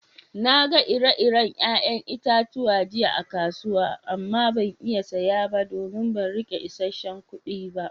Na gan ire-iren yayan itatuwa jiya a'kasuwa amma ban iya saya ba don ban rike isesen kudi ba.